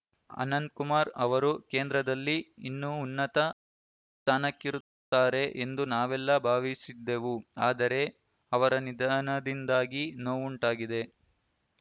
ಅನಂತ್‌ ಕುಮಾರ್‌ ಅವರು ಕೇಂದ್ರದಲ್ಲಿ ಇನ್ನೂ ಉನ್ನತ ಸ್ಥಾನಕ್ಕೆರುತ್ತಾರೆ ಎಂದು ನಾವೆಲ್ಲ ಭಾವಿಸಿದ್ದೆವು ಆದರೆ ಅವರ ನಿದಾನದಿಂದಾಗಿ ನೋವುಂಟಾಗಿದೆ